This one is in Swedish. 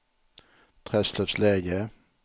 Träslövsläge